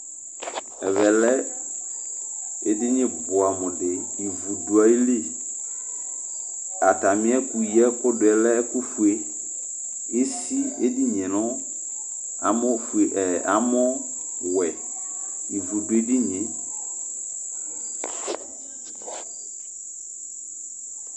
ɛvɛlɛ eɗɩnɩ ɓʊamʊɗɩ ɩʋʊɗʊaƴɩlɩ atamɩɛƙʊ ƴɛcʊɗʊɛ ɛƙʊƒʊe esɩ eɗɩnɩe nʊ amɔwɛ ɩʋʊɗʊeɗɩnɩe